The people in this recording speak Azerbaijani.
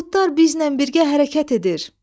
Buludlar bizlə birgə hərəkət edir.